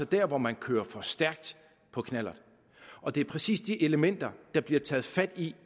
der hvor man kører for stærkt på knallert og det er præcis det element der bliver taget fat i